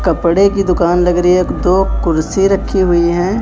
कपड़े की दुकान लग रही एक दो कुर्सी रखी हुई हैं।